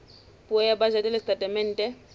puo ya bajete le setatemente